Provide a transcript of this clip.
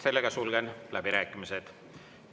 Sellega sulgen läbirääkimised.